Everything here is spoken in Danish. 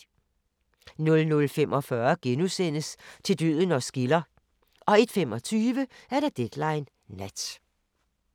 00:45: Til døden os skiller * 01:25: Deadline Nat